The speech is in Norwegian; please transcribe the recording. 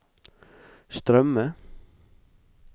strømme